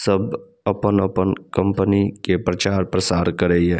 सब अपन-अपन कंपनी के प्रचार-प्रसार करय ये --